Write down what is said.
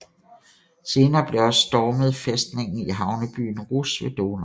Senere blev også stormet fæstningen i havnebyen Rousse ved Donau